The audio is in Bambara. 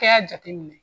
Kɛ y'a jateminɛ